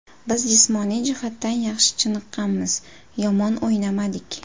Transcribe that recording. Biz jismoniy jihatdan yaxshi chiniqqanmiz, yomon o‘ynamadik.